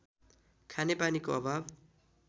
खानेपानीको अभाव